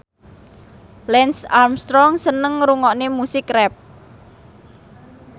Lance Armstrong seneng ngrungokne musik rap